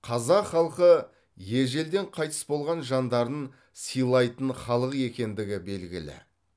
қазақ халқы ежелден қайтыс болған жандарын сыйлайтын халық екендігі белгілі